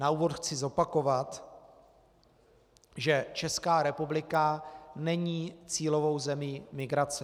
Na úvod chci zopakovat, že Česká republika není cílovou zemí migrace.